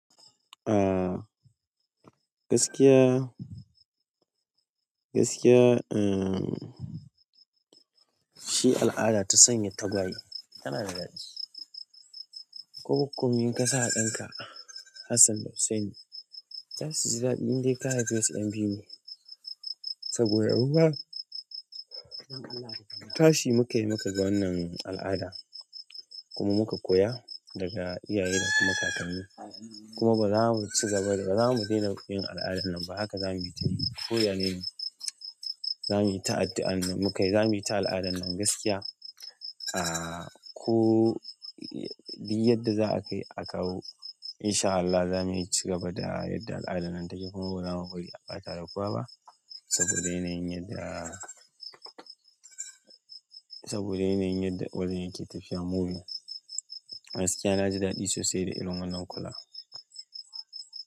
Gaskiya, gaskiya shi al'ada ta sanya tagwaye tana da daɗi. Ko ko in kasa wa ɗanka Hassan da Hussaini za su ji daɗi indai ka haife su ƴan biyu ne. Saboda ruwa tashi muka yi muka ga wannan al'ada kuma muka koya daga iyaye da kuma kakanni. Kuma ba za mu ci gaba da, ba za mu daina yin al'adan nan ba haka za mu yi ta yi. Koya ne, za mu yi ta addu'ar muka yi, za mu yi ta al'adan nan gaskiya. Ko duk yadda za a kai a kawo insha Allahi za mu ci gaba da yadda al'adan nan take kuma ba za mu bari a ɓata da kiwa ba saboda yanayin yanda, saboda yanayin yadda wajen yake tafiya mumin. Gaskiya na ji daɗi sosai da irin wannan kula.